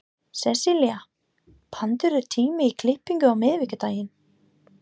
Sesselía, pantaðu tíma í klippingu á miðvikudaginn.